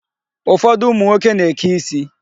Ụfọdụ ụmụ nwoke na-eke isi.